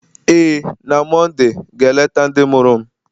Ee, na Mọnde ga-eleta ndị mụrụ m,